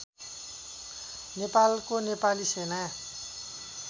नेपालको नेपाली सेना